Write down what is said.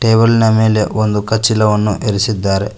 Table ನಾ ಮೆಲೆ ಒಂದು ಕಚಿಲವನ್ನು ಇರಿಸಿದ್ದಾರೆ.